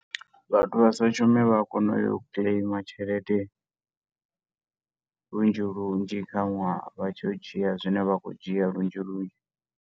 Vhathu vha sa shumi vha a kona u ya u claim tshelede lunzhi lunzhi kha nwaha, vha tshi yo dzhia zwine vha khou dzhia lunzhi lunzhi.